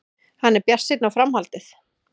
Hann er bjartsýnn á framhaldið.